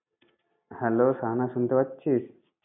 Hello Shahana শুনতে পাচ্ছিস?